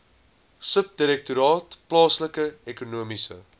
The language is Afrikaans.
subdirektoraat plaaslike ekonomiese